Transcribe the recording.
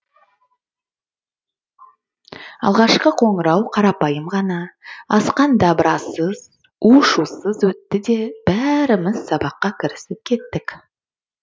алғашқы қоңырау қарапайым ғана асқан дабырасыз у шусыз өтті де бәріміз сабаққа кірісіп кеттік